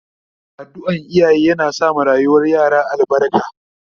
Addu'an iyaye yana sa ma rayuwar yara albarka